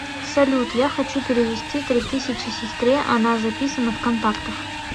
салют я хочу перевести три тысячи сестре она записана в контактах